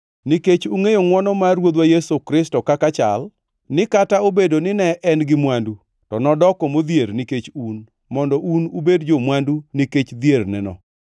Nikech ungʼeyo ngʼwono mar Ruodhwa Yesu Kristo kaka chal, ni kata obedo ni ne en gi mwandu, to nodoko modhier, nikech un, mondo un ubed jo-mwandu nikech dhierneno.